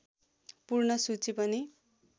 पूर्ण सूची पनि